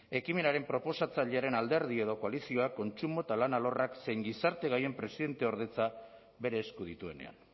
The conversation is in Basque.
ekimenaren proposatzailearen alderdi edo koalizioak kontsumo eta lan alorrak zein gizarte gaien presidenteordetza bere esku dituenean